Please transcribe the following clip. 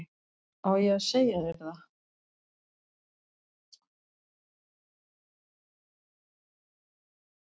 Á ég að segja þér það?